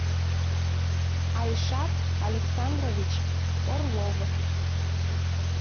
айшат александрович орлов